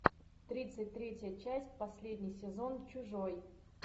тридцать третья часть последний сезон чужой